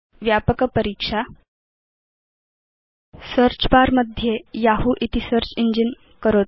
व्यापक परीक्षा search bar मध्ये यहू इति सेऽर्च इञ्जिन करोतु